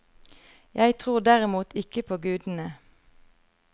Jeg tror derimot ikke på gudene.